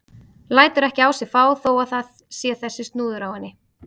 Lætur ekki á sig fá þó að það sé þessi snúður á henni.